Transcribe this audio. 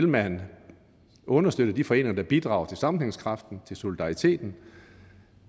man vil understøtte de foreninger der bidrager til sammenhængskraften til solidariteten